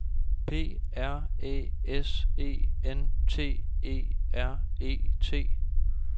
P R Æ S E N T E R E T